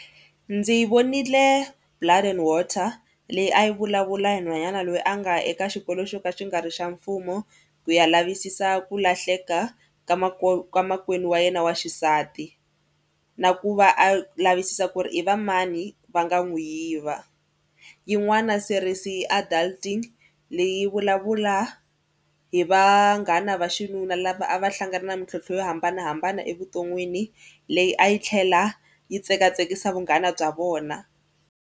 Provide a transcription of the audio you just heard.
Ndzi vonile Blood and water leyi a yi vulavula hi nhwanyana loyi a nga ya eka xikolo xo ka xi nga ri xa mfumo ku ya lavisisa ku lahleka ka makwenu wa yena wa xisati na ku va a lavisisa ku ri i va mani va nga n'wi yiva. Yin'wana series i Adulting leyi yi vulavula hi vanghana va xinuna lava a va hlangana na mintlhontlho yo hambanahambana evuton'wini leyi a yi tlhela yi tsekatsekisa vunghana bya vona.